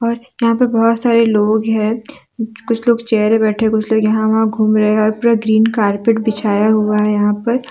यहां पर बहुत सारे लोग हैं कुछ लोग चेयर बैठे कुछ लोग यहां घूम रहे हैं और पूरा ग्रीन कारपेट बिछाया हुआ है यहां पर।